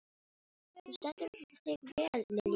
Þú stendur þig vel, Lilja!